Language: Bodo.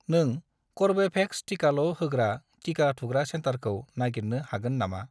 नों कर्वेभेक्स टिकाल' होग्रा टिका थुग्रा सेन्टारखौ नागिरनो हागोन नामा?